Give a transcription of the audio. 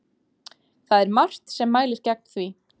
Það er margt sem mælir gegn því.